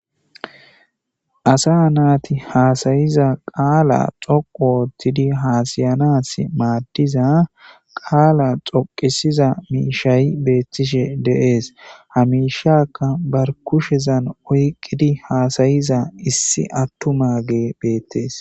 asa naati haasayiza qaala xoqu oottidi haasayanas maaddiza qaala xoqisiza miishayi beettishe deees hamishakka bar kushezan oyqqidi haasayiza issi attuma ge beettees